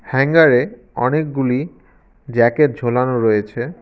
হ্যাঙ্গারে অনেকগুলি জ্যাকেট ঝোলানো রয়েছে।